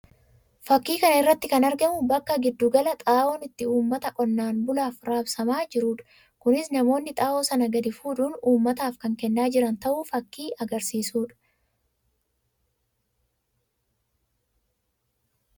Fakkii kana irratti kan argamu bakka gidduu galaa xaa'oon itti uummata qonnaan bulaaf raabsamaa jiruu dha. Kunis namoonni xaa'oo sana gadi fuudhuun uummataaf kan kennaa jiran ta'uu fakkii agarsiisuu dha.